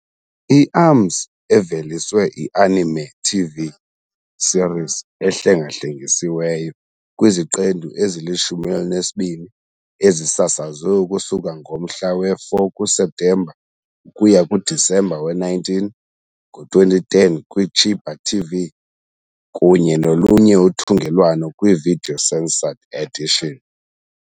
I- Arms- eveliswe i -anime TV series ehlengahlengisiweyo kwiziqendu ezili-12 ezisasazwe ukusuka ngomhla we-4 kuSeptemba ukuya kuDisemba we-19 , ngo-2010 kwi -Chiba TV kunye nolunye uthungelwano kwi-video-censored edition.